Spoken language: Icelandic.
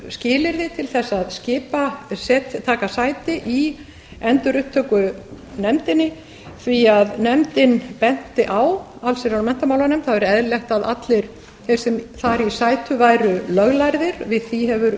skilyrði til þess að taka sæti í endurupptökunefndinni því að allsherjar og menntamálanefnd benti á að það væri eðlilegt að allir þeir sem þar í sætu væru löglærðir við því hefur